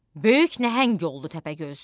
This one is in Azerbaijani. Böyük nəhəng oldu Təpəgöz.